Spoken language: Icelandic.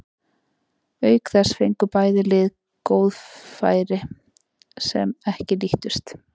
Auk þess fengu bæði lið fleiri góð færi sem ekki nýttust.